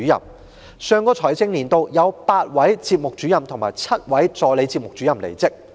在上個財政年度，有8位節目主任及7位助理節目主任離職。